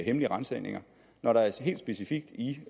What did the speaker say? hemmelige ransagninger når der helt specifikt i